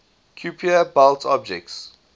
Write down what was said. kuiper belt objects